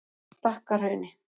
Stakkahrauni